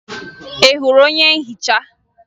Ị hụrụ onye nhicha?